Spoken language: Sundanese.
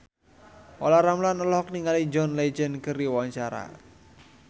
Olla Ramlan olohok ningali John Legend keur diwawancara